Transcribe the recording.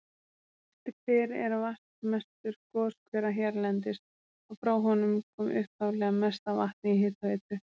Ystihver er vatnsmestur goshvera hérlendis, og frá honum kom upphaflega mest af vatni í hitaveitu